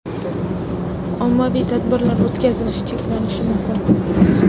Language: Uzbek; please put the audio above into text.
Ommaviy tadbirlar o‘tkazilishi cheklanishi mumkin.